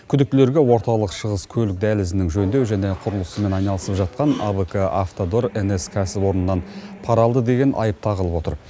күдіктілерге орталық шығыс көлік дәлізінің жөндеу және құрылысымен айналысып жатқан абк автодор нс кәсіпорнынан пара алды деген айып тағылып отыр